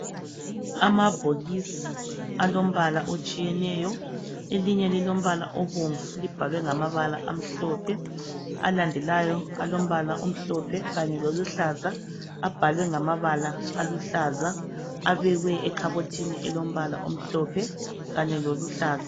Amabhokisi alombala otshiyeneyo elinye lilombala obomvu libhalwe ngamabala amhlophe alandelayo alombala omhlophe kanye loluhlaza abhalwe ngamabala aluhlaza. Abekwe ekhabothini elombala omhlophe kanye loluhlaza.